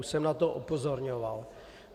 Už jsem na to upozorňoval.